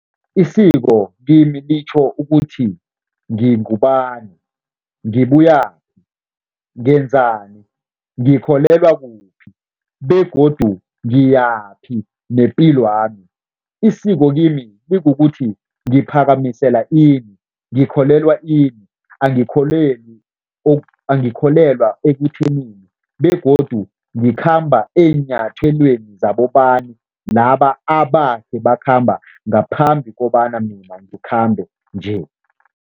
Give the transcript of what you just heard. Isiko kimi litjho ukuthi ngingubani, ngibuyaphi, ngenzani, ngikholelwa kuphi begodu ngiyaphi nepilwami. Isiko kimi likukuthi ngiphakamisela ini, ngikholelwa ini, angikholelwi angikholwelwa ekuthenini begodu ngikhamba eenyathelweni zabobani laba abakhe bakhamba ngaphambi kobana mina ngikhambe nje.